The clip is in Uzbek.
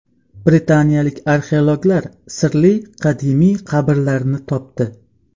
Britaniyalik arxeologlar sirli qadimiy qabrlarni topdi.